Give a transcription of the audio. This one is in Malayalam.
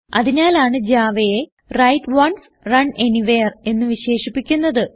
അതിനാലാണ് javaയെ വ്രൈറ്റ് ഓൺസ് റണ് അനിവെയർ എന്ന് വിശേഷിപ്പിക്കുന്നത്